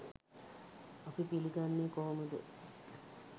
අපි පිළිගන්නේ කොහොමද?